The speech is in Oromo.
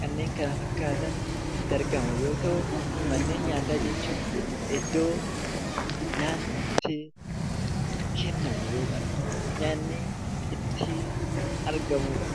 kanneen kana fakkaatan itti argaman yoo ta'u, manneen nyaataa jechuun iddoo nyaanni itti kennamu yookaan nyaanni itti argamudha.